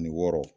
Ani wɔɔrɔ